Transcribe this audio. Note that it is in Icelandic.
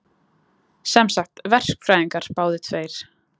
Sem sagt, verkfræðingar báðir tveir.